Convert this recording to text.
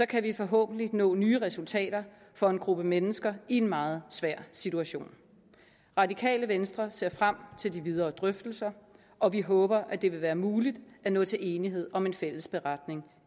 kan vi forhåbentlig nå nye resultater for en gruppe mennesker i en meget svær situation radikale venstre ser frem til de videre drøftelser og vi håber at det vil være muligt at nå til enighed om en fælles beretning